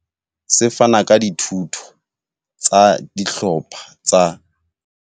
Se fana ka dithuto tsa dihlopha tsa.